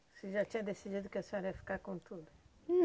Você já tinha decidido que a senhora ia ficar com tudo.